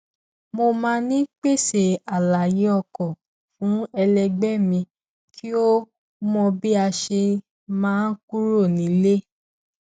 mo máa ń pèsè àlàyé ọkọ fún ẹlẹgbẹ mi kí ó mọ bí a ṣe máa kúrò nílé